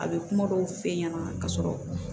A bɛ kuma dɔw f'e ɲɛna ka sɔrɔ